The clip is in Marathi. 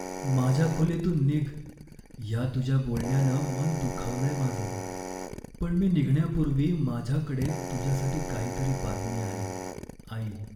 माझ्या खोलीतून निघ या तुझ्या बोलण्यानं मन दुखावलंय माझं, पण मी निघण्यापूर्वी माझ्याकडे तुझ्यासाठी काहीतरी बातमी आहे. आई